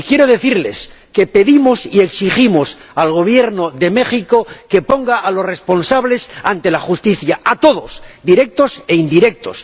Quiero decirles que pedimos y exigimos al Gobierno de México que ponga a los responsables ante la justicia —a todos, directos e indirectos—.